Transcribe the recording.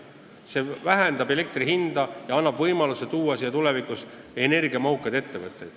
See alandab elektri hinda ja annab võimaluse rajada siin tulevikus energiamahukaid ettevõtteid.